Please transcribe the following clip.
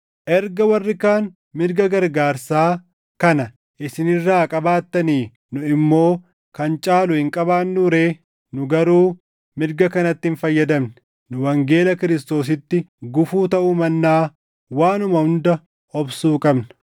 Erga warri kaan mirga gargaarsaa kana isin irraa qabaattanii, nu immoo kan caalu hin qabaannuu ree? Nu garuu mirga kanatti hin fayyadamne. Nu wangeela Kiristoositti gufuu taʼuu mannaa waanuma hunda obsuu qabna.